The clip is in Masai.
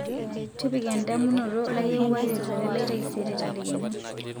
tipika endamunoto layieuwaki olchore lai taisere tadekenya